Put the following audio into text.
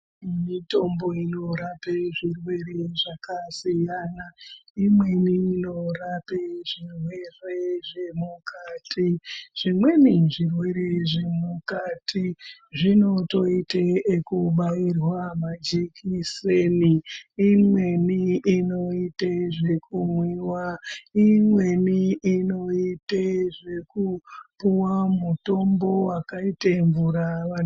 Mitombo inorape zvirwere zvakasiyana imweni inorape zvirwere zvemukati. Zvimweni zvirwere zvemukati zvinotoite ekubairwa majikiseni imweni inoita zvekumwiwa imweni inoita zvekupuwa mutombo wakaita mvura.